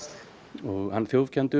og hann